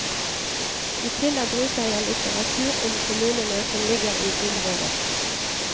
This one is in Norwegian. I tillegg bruker jeg litteratur om kommunene som ligger i området.